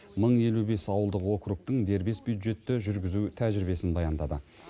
мың елу бес ауылдық округтің дербес бюджетті жүргізу тәжірибесін баяндады